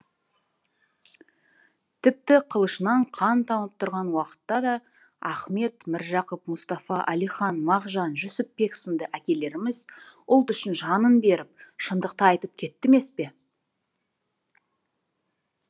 тіпті қылышынан қан тамып тұрған уақытта та ахмет міржақып мұстафа әлихан мағжан жүсіпбек сынды әкелеріміз ұлт үшін жанын беріп шындықты айтып кетті емес пе